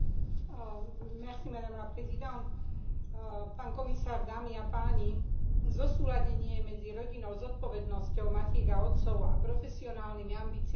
Zosúladenie medzi rodinnou zodpovednosťou matiek a otcov a profesionálnymi ambíciami zamestnancov má veľmi pozitívny a bezprostredný vplyv na celú spoločnosť.